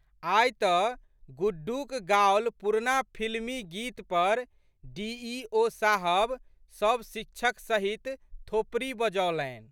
आइ तऽ गुड्डूक गाओल पुरना फिल्मी गीत पर डी.ई.ओ.साहब सब शिक्षक सहित थोपड़ी बजौलनि।